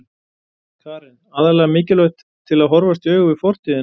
Karen: Aðallega mikilvægt til að horfast í augu við fortíðina?